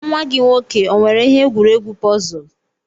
Nwa gi nwoke o nwere ihe egwuregwu pọzul?